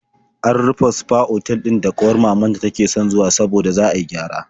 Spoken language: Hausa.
An rufe sfa otal ɗin da ƙawar mamanta take son zuwa saboda za a yi gyara.